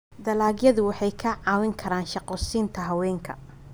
Dalagyadu waxay kaa caawin karaan shaqo siinta haweenka.